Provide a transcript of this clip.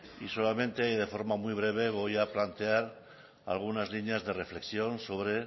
y solamente y de forma muy breve voy a plantear algunas líneas de reflexión sobre